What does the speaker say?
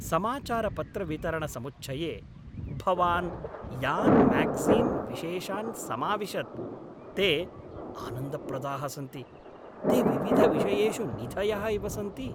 समाचारपत्रवितरणसमुच्चये भवान् यान् म्यागज़ीन् विशेषान् समाविशत् ते आनन्दप्रदाः सन्ति ते विविधविषयेषु निधयः इव सन्ति।